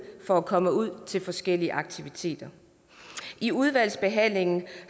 for at komme ud til forskellige aktiviteter i udvalgsbehandlingen